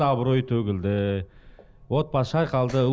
абыройы төгілді отбасы шайқайлды